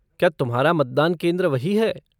क्या तुम्हारा मतदान केंद्र वही है?